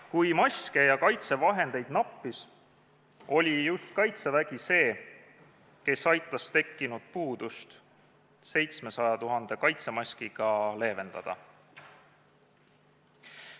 Kui maske ja kaitsevahendeid nappis, oli just Kaitsevägi see, kes aitas tekkinud puudust 700 000 kaitsemaskiga leevendada.